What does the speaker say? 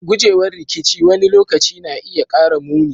Gujewar rikici wani lokaci na iya kara muni.